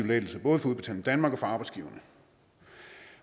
lettelse både for udbetaling danmark og for arbejdsgiverne